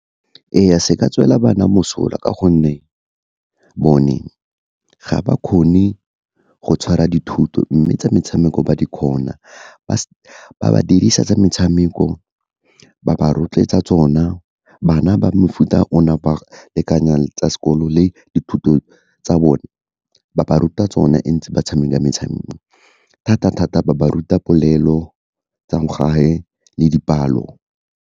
Ee, se ka tswela bana mosola ka gonne, bone ga ba kgone go tshwara dithuto, mme tsa metshameko ba di kgona, ba ba dirisa tsa metshameko, ba ba rotloetsa tsona. Bana ba mefuta ona, ba lekanyang tsa sekolo le dithuto tsa bone, ba ba ruta tsone ntse ba tshameka metshameko, thata-thata ba ba ruta polelo tsa mo gae le dipalo.